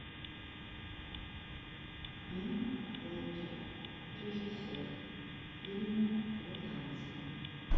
энн флетчер режиссер фильмы про танцы